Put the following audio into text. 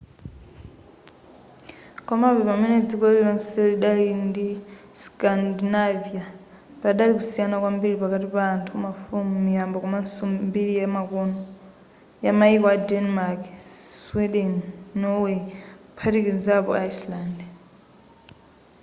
komabe pamene dziko lirilonse lidali la scandinavia' padali kusiyana kwambiri pakati pa anthu mafumu miyambo komanso mbiri yamayiko a denmark sweden norway kuphatikizapo iceland